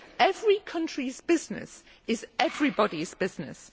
Every country's business is everybody's business.